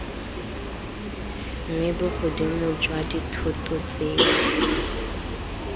mme bogodimo jwa dithoto tseo